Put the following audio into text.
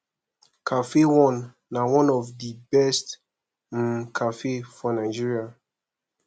cafe one na one of the best of the best um cafe for nigeria